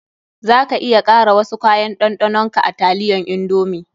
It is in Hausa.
Za ka iya kara wasu kayan ɗanɗanon ka a taliyan indomie.